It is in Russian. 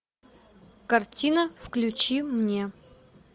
картина включи мне